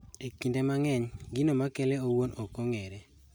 E kinde mang'eny gino makele owuon ok ong'ere